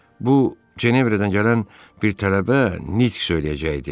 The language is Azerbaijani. Bu, Cenevrədən gələn bir tələbə nitq söyləyəcəkdi.